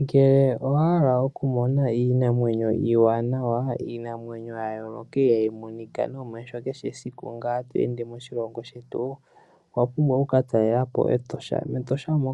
Ngele owahala okumona iinamwenyo iiwanawa, iinamwenyo ya yooloka ihaayi monika nomeho kehe siku to ende moshilongo shetu, owa pumbwa oku ka talela po meEtosha. MeEtosha omo